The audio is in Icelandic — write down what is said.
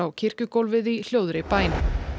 kirkjugólfið í hljóðri bæn